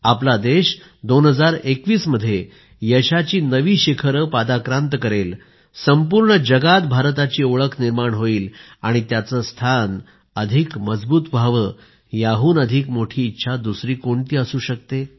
आपला देश 2021 मध्ये यशाची नवी शिखरे पादाक्रांत करेल संपूर्ण जगात भारताची ओळख निर्माण होईल आणि त्याचे स्थान अधिक सशक्त व्हावे याहून अधिक मोठी इच्छा दुसरी कोणती असू शकते